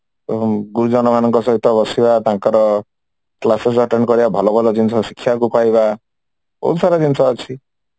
ଗୁରୁଜନ ମାନଙ୍କ ସହିତ ବସିବା ତାଙ୍କର classes attain କରିବା ଭଲ ଭଲ ଜିନିଷ ଶିଖିବାକୁ କହିବା ଏଇ ସବୁ ଜିନିଷ ଅଛି